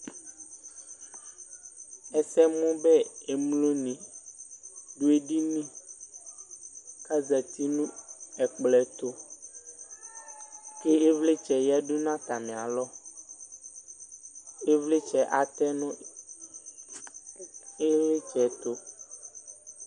Ɛsɛmʋdɛ emloni dʋ edini kʋ azeti nʋ ɛkplɔ ɛtʋ kʋ ivlitsɛ yadʋ nʋ atami alɔ ivlitsɛ atɛnʋ ilitsɛ ɛtʋ